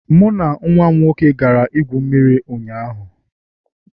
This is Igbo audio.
Mụ na nwa m nwoke gara igwu mmiri ụnyaahụ